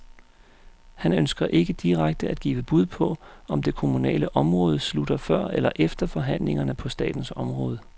Han ønsker ikke direkte at give bud på, om det kommunale område slutter før eller efter forhandlingerne på statens område.